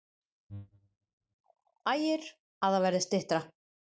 Ægir: Að það verði styttra?